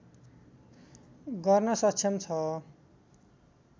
गर्न सक्षम छ